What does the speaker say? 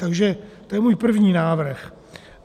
Takže to je můj první návrh.